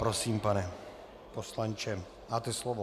Prosím, pane poslanče, máte slovo.